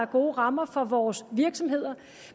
gode rammer for vores virksomheder